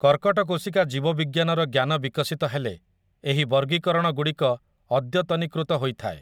କର୍କଟ କୋଷିକା ଜୀବବିଜ୍ଞାନର ଜ୍ଞାନ ବିକଶିତ ହେଲେ, ଏହି ବର୍ଗୀକରଣଗୁଡ଼ିକ ଅଦ୍ୟତନୀକୃତ ହୋଇଥାଏ ।